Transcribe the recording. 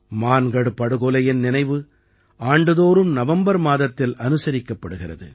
மான்கட் படுகொலையின் நினைவு ஆண்டுதோறும் நவம்பர் மாதத்தில் அனுசரிக்கப்படுகிறது